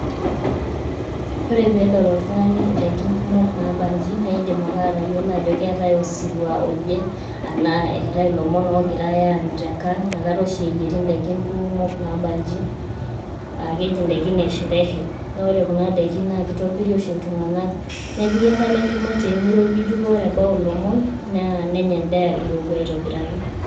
Ore pedol oltung'ani idaikin kumok nabanji, na idim ake atayiolo ajo keetae osirua oje, enaa eetae ilomon ogirai aanyu tenkang',nakata oshi eyieri daikin kuumok nabanji, ah keji idaikin esherehe. Na ore kuna daikin na kitobiri oshi iltung'anak. Nepiki enkalo enkima temiropiju pa ore ebau ilomon, nenya endaa irowua aitobiraki.